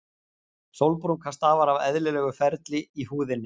Sólbrúnka stafar af eðlilegu ferli í húðinni.